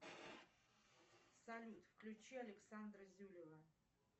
салют включи александра зюлева